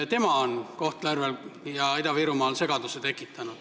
Tema on Kohtla-Järvel ja mujal Ida-Virumaal segaduse tekitanud.